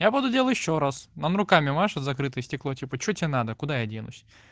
я подудел ещё раз он руками машет в закрытое стекло типа что тебе надо куда я денусь